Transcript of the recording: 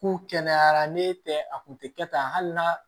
K'u kɛnɛyara n'e tɛ a kun tɛ kɛ tan hali n'a